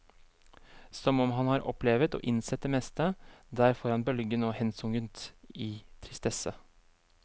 Som om han har opplevet og innsett det meste, der foran bølgen og hensunket i tristesse.